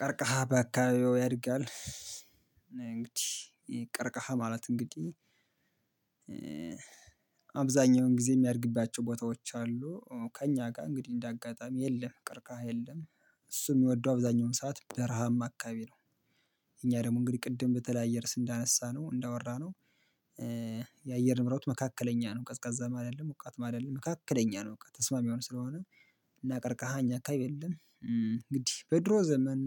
ቀርቀሃ በአካባቢው ያድጋል። እንግዲህ ቀርቀሃ ማለት እንግዲህ ጊዜ የሚያድግባቸው ቦታዎች አሉ ከእኛ ጋር እንግዲህ እንደ አጋጣሚ የለም ቀርካሃ የለም እሱም የሚወደው አብዛኛውን ሰዓት በረሃም አካባቢ ነው። እኛ ደግሞ እንግዲህ ቅድም በተለያየ ርዕስ እንዳነሳነው እንዳወራነው የአየር ንብረት መካከለኛ ነው ቀዝቃዛም አይደለም ሞቃትም አይደለም መካከለኛ ነው ሙቀት ተስማሚ የሆኖ ስለሆነ። እና ቀርቀሃ እኛ አካባቢ የለም እንግዲህ በድሮ ዘመን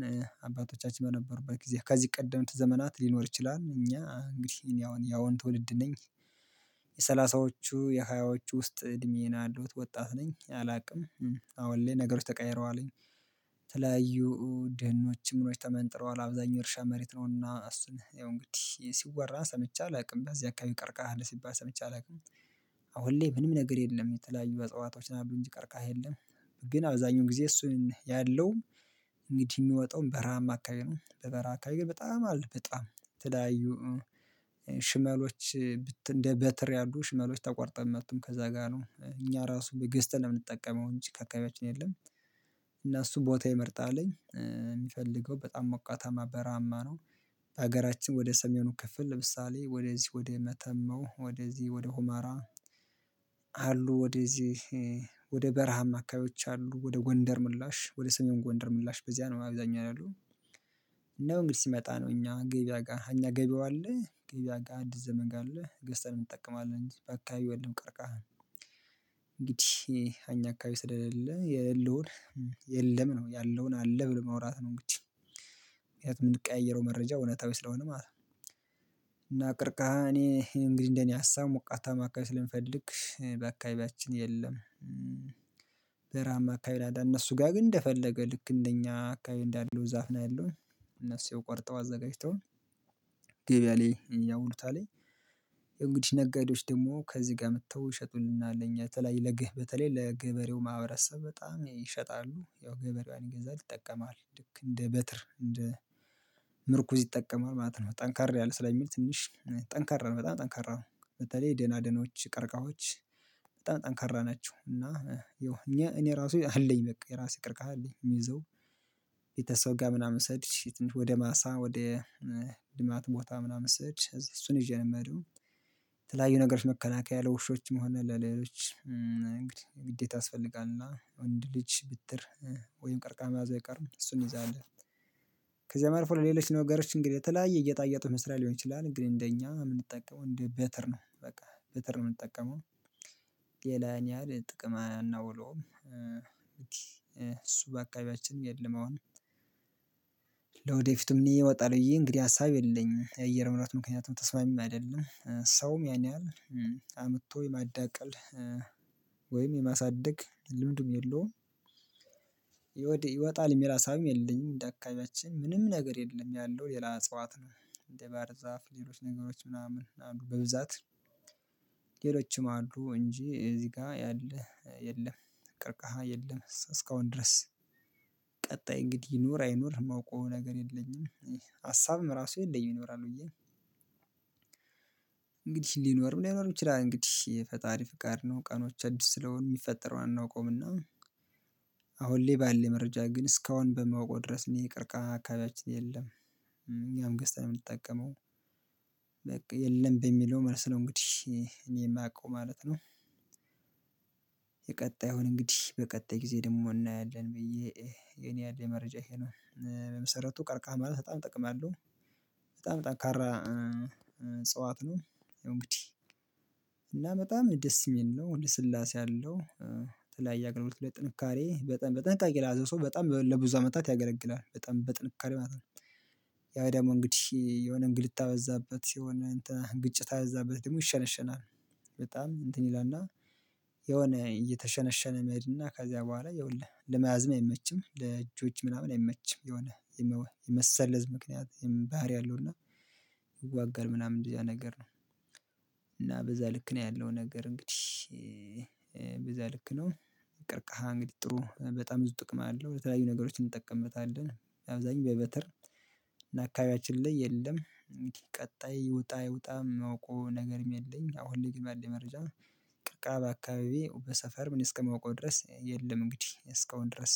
አባቶቻችን በነበሩበት ጊዜ ከዚህ ቀደምት ዘመናት ሊኖር ይችላል። እኛ እንግዲህ እኔ አሁን ያሁን ትውልድ ነኝ የሰላሳዎቹ የሃያዎቹ ውስጥ እድሜዬ ነው የለዉት ወጣት ነኝ አላውቅም። አሁን ላይ ነገሮች ተቀየረው አለኝ። ድኖች ምኖች ተመንጥረዋል አብዛኛው የእርሻ መሬት ነውና እሱን ያው እንግዲህ ሲወራ ሰምቼ አላውቅም በዚህ አካባቢ ቀርቀሃ አለ ሲባል ሰምቼ አላውቅም። አሁን ላይ ምንም ነገር የለም የተለያዩ እጸዋቶች ናቸው እንጂ ቀርቃሃ የለም። ግን አብዛኛው ጊዜ እሱን ያለው እንግዲህ የሚወጣውን በረሃማ አከበቢ ነው በበረሃ አካባቢ ግን በጣም አለ በጣም የተለያዩ ሽመሎች እንደ በትር ያሉ ሽመሎች ተቆርጠ የሚጡም ከዛ ጋር ነው እኛ ራሱ ግዝተን ነው የምንጠቀመው እንጂ ከአካባቢያችን የለም። እና እሱ ቦታ የመርጣልኝ አለኝ የሚፈልገው በጣም ሞቃታማ በራሀማ ነው። በሀገራችን ወደ ሰሜኑ ክፍል ለምሳሌ ወደ ወደ መተማው ወደዚህ ወደ ሆመራ አሉ ወደዚህ ወደ በረሃም አካባቢዎች አሉ ወደ ጎንደር ምላሽ ወደ ሰሜን ጎንደር ምላሽ በዚያ ነው አብዛኛው ያሉት። ነው እንግዲህ ሲመጣ ነው እኛ ገበያ ጋር እኛ ገበያው አለ ገበያ ጋር አዲስ ዘመን ጋር አለ ገዝተን እንጠቀማለን በአካባቢው የለም። ቀርቃህ እንግዲህ አኛ አካባቢ ስለሌለ የሌለውን የለም ነው ያለውን አለ ብሎ ማውራት ነው ይቺ ምክንያቱም የምንቀያየረው መረጃ እውነታዊ ስለሆነ ማለት ነው። እና ቅርቃሃ እኔ እንግዲህ እንደኔ ሀሳብ ሞቃታማ አከባቢ ስለሚፈልግ በአካባቢያችን የለም አካባቢ ካናዳ እነሱ ጋር ግን እንደፈለገ ልክ እንደኛ አካባቢ እንዳለው ዛፍ ነው ያለው። እነሱ ቆርጠው አዘጋጅተው ገበያ ላይ ያዉሉታልኝ እንግዲህ ነጋዴዎች ደግሞ ከዚህ ጋር መጥተው ይሸጡልናል እኛ በተለይ ለግህ በተለይ ለገብርዬው ማህበረሰብ በጣም ይሸጣሉ ያው ገበሬዋን ይገዛል ይጠቀማል ልክ እንደ በትር እንደ ምርኩዝ ይጠቀማል ማለት ነው። ጠንካራ ያለ ስለሚል ትንሽ ጠንካራ በጣም ጠንካራ በተለይ ደናደናች ቀርቃሀች በጣም ጠንካራ ናቸው እና ይኸው እኛ እኔ ራሱ አለኝ በቃ የራሴ ቅርቅሀ አለኝ የምይዘው። ቤተሰብ ጋር ምናምን ሰሄድ ወደ ማሳ ወደ ልማት ቦታ ምናምን ስሄድ እሱን ይዠ ነው የምሄደው። ነገሮች መከላከያ ያለው ውሾችም ሆነ ለሌሎች እንግዲህ ግዴታ ያስፈልጋልና ወንድ ልጅ ብትር ወይም ቀርቃሃ መያዙ አይቀርም እሱን እንይዛለኔ። ከዚያ አልፎ ለሌሎች ነገሮች እንግዲህ የተለያየ ጌጣጌጦች መስሪያ ሊሆን ይችላል ግን እንደኛ የምንጠቀመው እንደ በተር ነው በቃ በተር የምንጠቀመው። ሌላ ያን ያህል ጥቅም አናውለውም እንግዲ እሱ በአከቢያችን የለም አሁን። ለወደፊቱም እኔ ይወጣልብዬ እንግዲህ ሀሳብ የለኝም የአየር ንብረትም ምክንያት ተስማሚም አይደለም ሰውም ያን ያህል አምጥቶ የማዳቀል ወይም የማሳደግ ልምድም የለውም። ይወጣል የሚል ሀሳብም የለኝም እደአካቢያችን ምንም ነገር የለም ያለው ሌላ እጽዋት ነው። እንዴ ባር ዛፍ ሌሎች ነገሮች ምናምን አሉ በብዛት ሌሎችም አሉ እንጂ እዚህ ጋር ያለህ የለም። ቅርቅሃ የለም እስካሁን ድረስ ቀጣይ እንግዲህ ይኑር አይኑር የማውቀው ነገር የለኝም። ሀሳብም ራሱ የለኝም ይኖራል ብዬ። እንግዲህ ሊኖርም ለይኖርም ይችላል እንግዲህ የፈጣሪ ፍቃድ ነው ቀኖች አዲስ ስለሆኑ የሚፈጠረውን አናውቀውምና። አሁን ለይ ባሌኝ መረጃ ግን እስካሁን በማውቀው ድረስ የሚቀርቀሀ አካባቢያችን የለም። እኛም ገዝታ ነው የምንጠቀመው። በቃ የለም በሚለው መልስ ነው እንግዲህ እኔ የማውቀው ማለት ነው። የቀጣዩን እንግዲህ በቀጣይ ጊዜ ደግሞ እናያለን ብዬ የኔ ያለ መረጃ ይሄ ነው። በመሰረቱ ቀርቃህ ማለት በጣም ጥቅም አለሁ። በጣም ጠንካራ እጽዋት ነው። እንግዲህ እና በጣም ደስ የሚል ነው ወደ ልስላሴ አለው። የተለያይ አገልግሎቶ ብሎ ጥንካሬ በጠን በጥንቃቄ ላይ ሰው በጣም ለብዙ አመታት ያገለግላል በጣም በጥንካሬ ማለት ነው። ያው ደግሞ እንግዲህ የሆነ እንግልታ በዛበት ሲሆን እንትን ግጭት አያበዛትም ደግሞ ይሸነሸናል። በጣም እንትን ይላልና። የሆነ እየተሸነሸነ መሄድ እና ከዚያ በኋላ ይኸውልህ ለመያዝም አይመችም ለእጆች ምናምን አይመችም። የሆነ የመሰለዝ ምክንያት ባሀሪ አለው እና። ይዋጋል ምናምን እንደዚህ ያ ነገር ነው። እና በዛ ልክ ነው ያለው ነገር እንግዲህ። በዛ ልክ ነው። ቅርቃሃ እንግዲህ ጥሩ በጣም ብዙ ጥቅም አለው ለተለያዩ ነገሮች እንጠቀምበታለን። አብዛኛው በበተር እና አካባቢያችን ላይ የለም። ቀጣይ ይወጣ አይዉጣ የማውቀው ነገርም የለኝ አሁን ላይ ግን ባለኝ መረጃ። ቀረከሀ በአካባቢዬ በሰፈርምን እስከማውቀው ድረስ የለም እንግዲህ እስካሁን ድረስ።